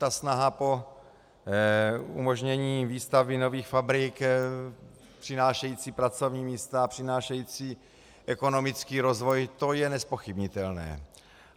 Ta snaha po umožnění výstavby nových fabrik přinášející pracovní místa, přinášející ekonomický rozvoj, to je nezpochybnitelné.